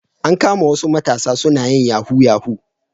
An kama wasu matasa suna yin yahu yahu